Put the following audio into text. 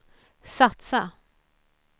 satsa